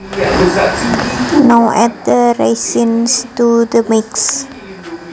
Now add the raisins to the mix